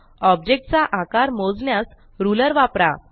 object चा आकार मोजण्यास रुलर वापरा